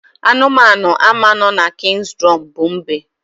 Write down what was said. Anụmanụ ama no na King's Drum bu mbe